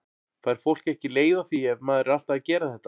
Fær fólk ekki leið á því ef maður er alltaf að gera þetta?